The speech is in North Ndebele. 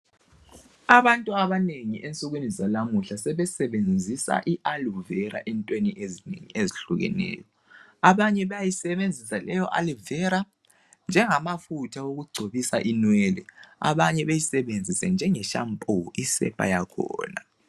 Abantu abanengi ensukwini zanamuhla sebesebenzisa iAloe Vera entweni ezinengi ezhlukeneyo. Abanye bayayisebenzisa leyo Ali vera njengamafutha okugcobisa inwele, abanye beyisebenzise njenge shampoo isepa yakhona.